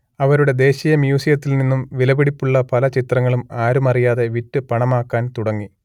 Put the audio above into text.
അവരുടെ ദേശീയമ്യൂസിയത്തിൽ നിന്നും വിലപിടിപ്പുള്ള പല ചിത്രങ്ങളും ആരുമറിയാതെ വിറ്റ് പണമാക്കാൻ തുടങ്ങി